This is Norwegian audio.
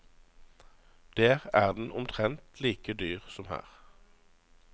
Der er den omtrent like dyr som her.